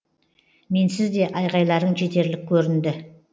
менсіз де айғайларың жетерлік көрінді